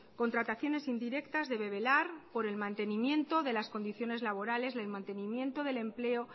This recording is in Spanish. contrataciones indirectas debe velar por el mantenimiento de las condiciones laborales el mantenimiento del empleo